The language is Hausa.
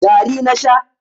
gari na Sha